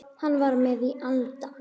Hann var með í anda.